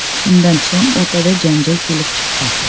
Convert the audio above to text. Shundan so‘ng o‘rtada janjal kelib chiqqan.